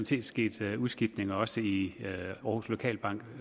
set sket udskiftninger også i aarhus lokalbank